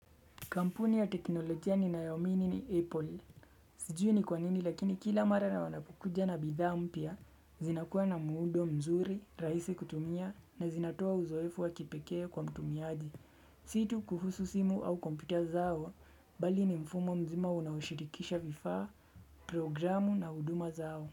Kampuni ya teknolojia ninayoamini ni Apple. Sijui ni kwanini lakini kila mara wanakuja na bidhaa mpya. Zinakuwa na muundo mzuri, rahisi kutumia na zinatoa uzoefu wa kipekee kwa mtumiaji. Si tu kuhusu simu au kompyuta zao bali ni mfumo mzima unashirikisha vifaa, programu na huduma zao.